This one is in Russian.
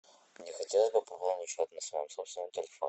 мне хотелось бы пополнить счет на своем собственном телефоне